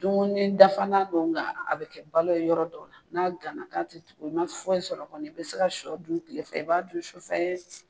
Dumuni dafa na don , nga a be kɛ balo ye yɔrɔ dɔw la n'a gana k'a te tugu i ma foyi sɔrɔ kɔni i be se ka sɔ dun kile fɛ, i b'a dun sufɛ.